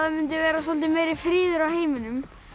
mundi vera soldið meiri friður í heiminum